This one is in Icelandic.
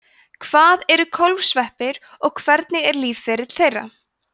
hvað eru kólfsveppir og hvernig er lífsferill þeirra